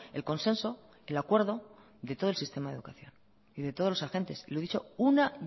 el consenso el acuerdo de todo el sistema de educación y de todos los agentes lo he dicho una